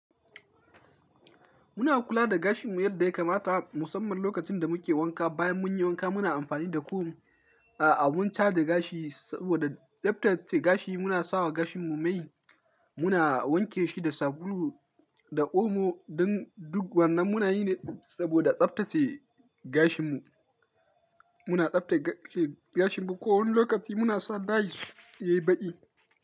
Muna kula da gashinmu yadda ya kamata musamman lokacin da muke wanka. Bayan mun yi wanka muna amfani da comb a abun caje gashi saboda tsaftace gashi. Muna sawa gashinmu mai, muna wanke shi da sabulu da omo dan duk wannan muna yi ne saboda tsaftace gashinmu. Muna tsaftace gashinmu kowane lokaci muna sa dies yayi baki.